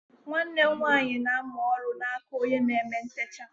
Nwanne m nwaanyị na-amụ oru n'aka onye na-eme ntecha.